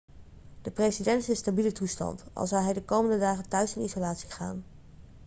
de president is in stabiele toestand al zal hij de komende dagen thuis in isolatie gaan